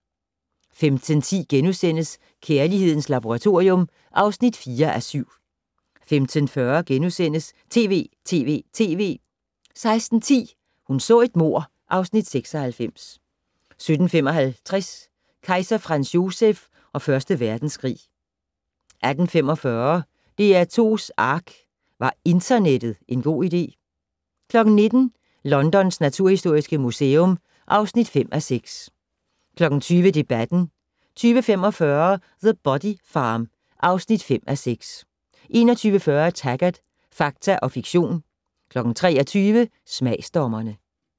15:10: Kærlighedens Laboratorium (4:7)* 15:40: TV!TV!TV! * 16:10: Hun så et mord (Afs. 96) 17:55: Kejser Franz Joseph og Første Verdenskrig 18:45: DR2's ARK - Var internettet en god idé? 19:00: Londons naturhistoriske museum (5:6) 20:00: Debatten 20:45: The Body Farm (5:6) 21:40: Taggart: Fakta og fiktion 23:00: Smagsdommerne